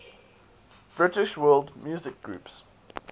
british world music groups